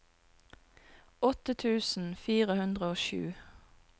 åtte tusen fire hundre og sju